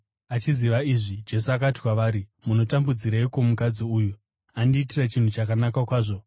Achiziva izvi, Jesu akati kwavari, “Munotambudzireiko mukadzi uyu? Andiitira chinhu chakanaka kwazvo.